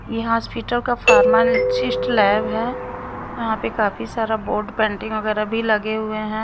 ये हॉस्पिटल का pharmacist lab है यहाँ पे काफी सारा बोर्ड पेंटिंग वगैरह भी लगे हुए हैं।